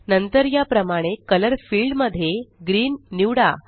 नंतर या प्रमाणे कलर फील्ड मध्ये ग्रीन निवडा